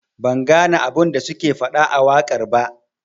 Ban gane abun da suke fada a wakar ba.